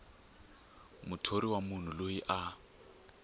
muthori wa munhu loyi a